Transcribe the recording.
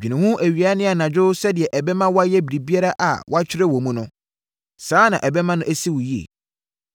Dwene ho awia ne anadwo sɛdeɛ ɛbɛma woayɛ biribiara a wɔatwerɛ wɔ mu no. Saa na ɛbɛma asi wo yie.